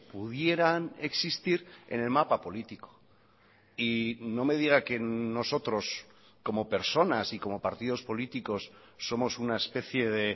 pudieran existir en el mapa político y no me diga que nosotros como personas y como partidos políticos somos una especie de